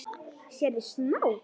Sérðu snák?